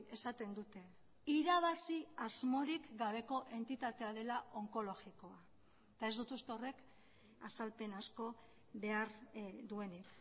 esaten dute irabazi asmorik gabeko entitatea dela onkologikoa eta ez dut uste horrek azalpen asko behar duenik